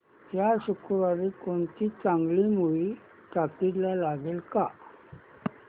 या शुक्रवारी कोणती चांगली मूवी टॉकीझ ला लागेल का